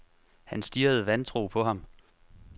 Han stirrede vantro på ham.